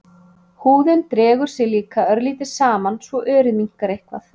Húðin dregur sig líka örlítið saman svo örið minnkar eitthvað.